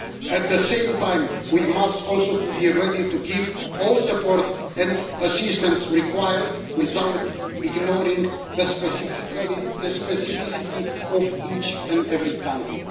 At the same time, we must also be ready to give all the support and assistance required without ignoring the specificity of each and every country.